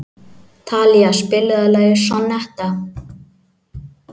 Talía, spilaðu lagið „Sonnetta“.